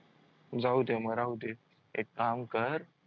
जाऊदे म राहूदे एक काम कर